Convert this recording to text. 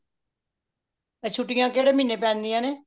ਏ ਛੁਟੀਆਂ ਕਹਿੰਦੇ ਮਹੀਨੇ ਪੈਂਦੀਆਂ ਨੇ